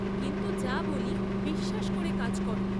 কিন্তু যা বলি বিশ্বাস করে কাজ করো।